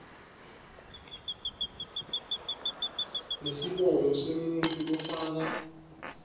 nesibongo semuntfu lofaka